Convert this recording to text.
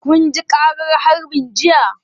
Kun ji ƙaran harbin jiya?